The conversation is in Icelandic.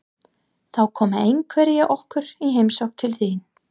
Þá koma einhverjir okkar í heimsókn til þín